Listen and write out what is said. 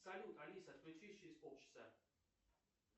салют алиса включись через полчаса